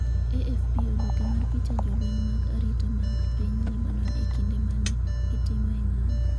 AFP Oboke mar picha Jolweny mag arita mag piny Lebanon e kinde ma ne gitimoe ng’anjo